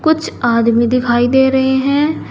कुछ आदमी दिखाई दे रहे हैं।